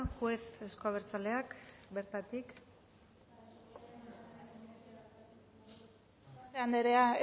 juez euzko abertzaleak bertatik grabazio akatsa anderea